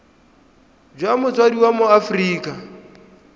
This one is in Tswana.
jwa motsadi wa mo aforika